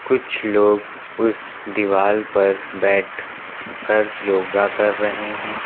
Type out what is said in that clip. कुछ लोग उसे दीवार पर बैठ कर योगा कर रहे हैं।